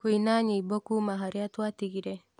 kũina nyĩmbo kuuma harĩa twatigire